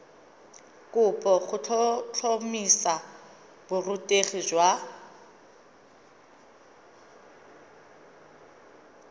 kopo go tlhotlhomisa borutegi jwa